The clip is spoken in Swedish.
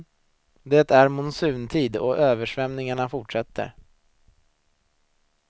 Det är monsuntid och översvämningarna fortsätter.